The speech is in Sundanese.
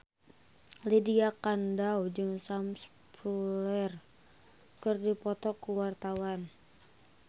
Lydia Kandou jeung Sam Spruell keur dipoto ku wartawan